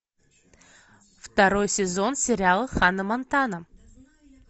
второй сезон сериал ханна монтана